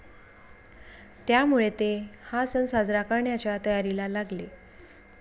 त्यामुळे, ते हा सण साजरा करण्याच्या तयारीला लागले.